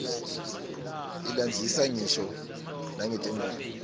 ilandzisa ngisho nangetimphi